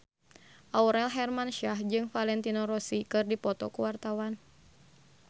Aurel Hermansyah jeung Valentino Rossi keur dipoto ku wartawan